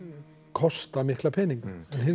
kosta mikla peninga